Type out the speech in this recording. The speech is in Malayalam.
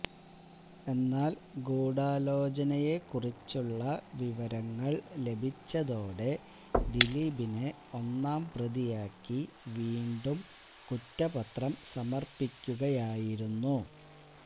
എന്നാല് ഗൂഢാലോചനയെക്കുറിച്ചുള്ള വിവരങ്ങള് ലഭിച്ചതോടെ ദിലീപിനെ ഒന്നാം പ്രതിയാക്കി വീണ്ടും കുറ്റപത്രം സമര്പ്പിക്കുകയായിരുന്നു